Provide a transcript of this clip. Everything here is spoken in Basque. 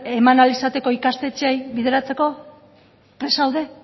eman ahal izateko ikastetxeei bideratzeko prest zaude